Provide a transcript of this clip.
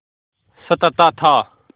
सताता था